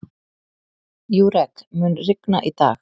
Júrek, mun rigna í dag?